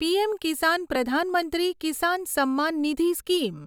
PM કિસાન પ્રધાન મંત્રી કિસાન સમ્માન નિધિ સ્કીમ